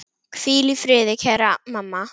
Hvíl í friði, kæra mamma.